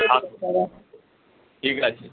ঠিক আছে।